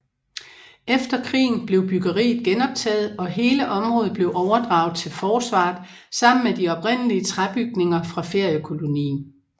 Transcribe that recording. Efter krigen blev byggeriet genoptaget og hele området blev overdraget til Forsvaret sammen med de oprindelige træbygninger fra feriekolonien